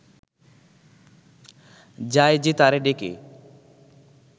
যায় যে তারে ডেকে